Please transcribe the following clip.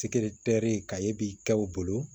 ka ye bi kɛ u bolo